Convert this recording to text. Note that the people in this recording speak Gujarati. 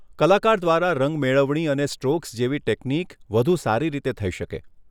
કલાકાર દ્વારા રંગમેળવણી અને સ્ટ્રોક્સ જેવી ટેકનીક વધુ સારી રીતે થઇ શકે.